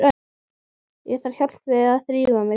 Ég þarf hjálp við að þrífa mig.